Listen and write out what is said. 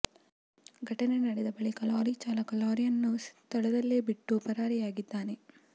ಘಟನೆ ನಡೆದ ಬಳಿಕ ಲಾರಿ ಚಾಲಕ ಲಾರಿಯನ್ನು ಸ್ಥಳದಲ್ಲೇ ಬಿಟ್ಟು ಪರಾರಿಯಾಗಿದ್ದಾನೆ